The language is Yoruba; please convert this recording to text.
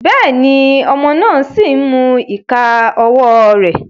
Béèni, ọmọ náà sí n mú ìká ọwọ rẹ